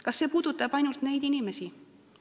Kas see puudutab ainult neid inimesi?